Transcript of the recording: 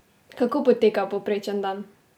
Kako poteka povprečen dan?